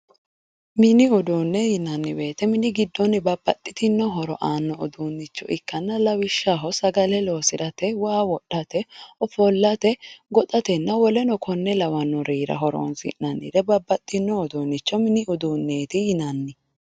Mini uduune yinnanni woyte mini giddo babbaxxitino horo aanoha ikkanna lawishshaho sagale loosirate waa wodhate ofollate goxatenna woleno kuri lawinore babbaxinorira horonsi'nanniha mini uduuneti yinnanni.